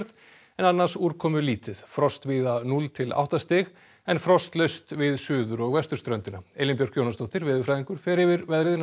en annars úrkomulítið frost víða núll til átta stig en frostlaust við suður og vesturströndina Elín Björk Jónasdóttir veðurfræðingur fer yfir veðrið